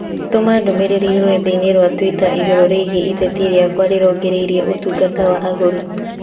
tũma ndũmīrīri rũrenda-inī rũa tũita igũrũ rĩgiĩ ĩteta rĩakwa rĩrongoreirie ũtungata wa agũri